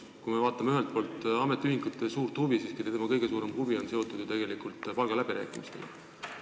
Kui me vaatame ametiühinguid, siis nende kõige suurem huvi on seotud ju palgaläbirääkimistega.